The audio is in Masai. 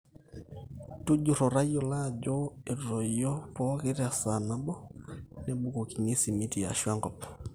tujurro tayiolo ajo etoyu pooki tesaa nabo. mebukokini esimiti aashu enkop